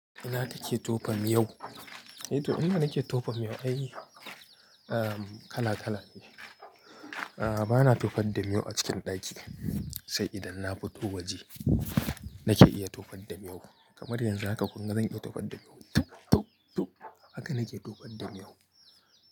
Ina take tofa yau? E toh, inda nake tofan miyau, ai, ah, kala kala ne. Ah, bana tufar da miyo a cikin ɗaki. Sai idan na fito waje. Nake iya tufar da miyo. Kamar yanzu haka kunna zan iya tufar da miyo. Tup, tup, tup haka nake tufar da miyo.